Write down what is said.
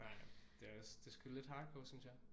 Nej det er også det er sgu lidt hardcore synes jeg